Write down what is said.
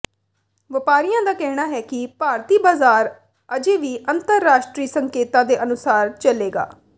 ਵਪਾਰੀਆਂ ਦਾ ਕਹਿਣਾ ਹੈ ਕਿ ਭਾਰਤੀ ਬਾਜ਼ਾਰ ਅਜੇ ਵੀ ਅੰਤਰਰਾਸ਼ਟਰੀ ਸੰਕੇਤਾਂ ਦੇ ਅਨੁਸਾਰ ਚੱਲੇਗਾ